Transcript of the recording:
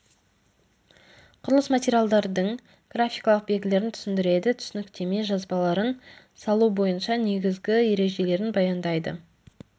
құрылыс материалдардың графикалық белгілерін түсіндіреді түсініктеме жазбаларын салу бойынша негізгі ережелерін баяндайды